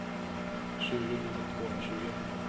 tjugo tusen tvåhundratjugo